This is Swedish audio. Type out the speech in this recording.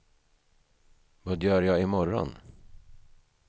vad gör jag imorgon